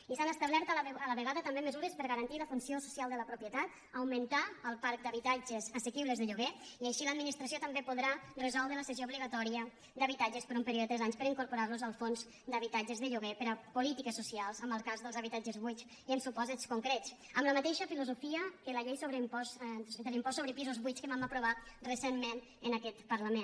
i s’han establert a la vegada també mesures per a garantir la funció social de la propietat augmentar el parc d’habitatges assequibles de lloguer i així l’administració també podrà resoldre la cessió obligatòria d’habitatges per a un període de tres anys per a incorporar los als fons d’habitatges de lloguer per a polítiques socials en el cas dels habitatges buits i en supòsits concrets amb la mateixa filosofia que la llei de l’impost sobre pisos buits que vam aprovar recentment en aquest parlament